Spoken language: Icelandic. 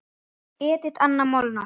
Edit Anna Molnar.